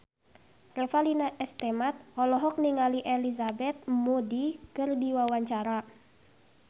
Revalina S. Temat olohok ningali Elizabeth Moody keur diwawancara